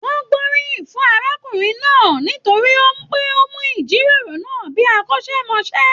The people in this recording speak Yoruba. Wọn gboriyin fún arákùnrin náà nítorí pé o mu ijiroro náà bíi akọ́sẹmọ́sẹ́.